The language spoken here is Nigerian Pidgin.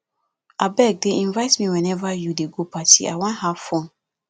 abeg dey invite me whenever you dey go party i wan have fun